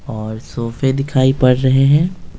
और सोफे दिखाई पड़ रहे हैं।